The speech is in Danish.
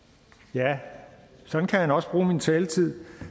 ja sådan kan han også bruge min taletid